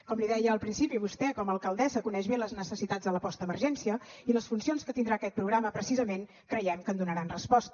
com li deia al principi vostè com a alcaldessa coneix bé les necessitats de la postemergència i les funcions que tindrà aquest programa precisament creiem que hi donaran resposta